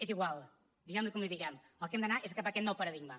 és igual diguem li com li diguem el que hem d’anar és cap a aquest nou paradigma